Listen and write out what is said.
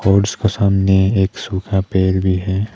Boards क सामने एक सूखा पेड़ भी है।